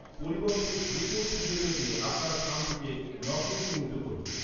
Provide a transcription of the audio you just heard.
পরিবর্তে, দ্রুত খুঁজে পেতে আপনার খামটিকে "নকল" চিহ্নিত করুন।